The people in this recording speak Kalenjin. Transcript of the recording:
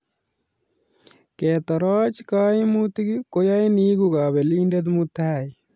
Ketoroch kaimutik ko yain iegu kapelindet mutai